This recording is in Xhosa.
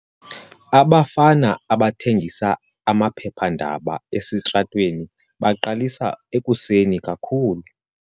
Abafana abathengisa amaphephandaba esitratweni baqalisa ekuseni kakhulu.